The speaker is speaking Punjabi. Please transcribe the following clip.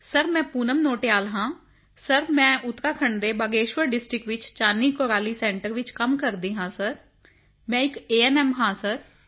ਸਿਰ ਮੈਂ ਪੂਨਮ ਨੋਟਿਆਲ ਹਾਂ ਸਿਰ ਮੈਂ ਉੱਤਰਾਖੰਡ ਦੇ ਬਾਗੇਸ਼ਵਰ ਡਿਸਟ੍ਰਿਕਟ ਵਿੱਚ ਚਾਨੀ ਕੋਰਾਲੀ ਸੈਂਟਰ ਵਿੱਚ ਕੰਮ ਕਰਦੀ ਹਾਂ ਸਿਰ ਮੈਂ ਇੱਕ ਏਐਨਐਮ ਹਾਂ ਸਰ